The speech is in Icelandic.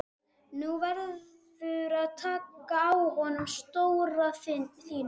Nú verðurðu að taka á honum stóra þínum!